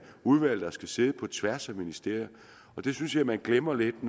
udvalg der skal sidde på tværs af ministerierne det synes jeg man glemmer lidt